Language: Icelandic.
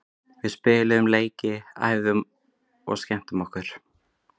Við spiluðum leiki, æfðum og skemmtum okkur.